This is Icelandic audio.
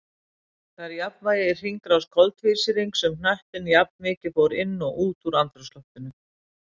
Þá var jafnvægi í hringrás koltvísýrings um hnöttinn, jafnmikið fór inn og út úr andrúmsloftinu.